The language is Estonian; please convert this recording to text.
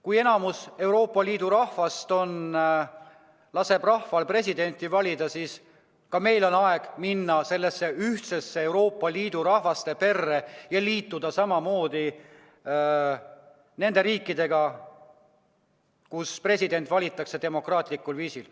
Kui suurem osa Euroopa Liidu rahvastikust laseb rahval presidenti valida, siis ka meil on aeg astuda sellesse ühtsesse Euroopa Liidu rahvaste perre ja liituda riikidega, kus president valitakse demokraatlikul viisil.